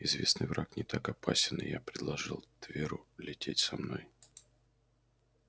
известный враг не так опасен и я предложил тверу лететь со мной